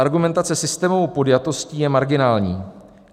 Argumentace systémovou podjatostí je marginální.